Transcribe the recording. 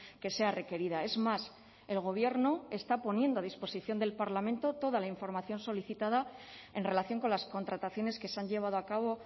que sea requerida es más el gobierno está poniendo a disposición del parlamento toda la información solicitada en relación con las contrataciones que se han llevado a cabo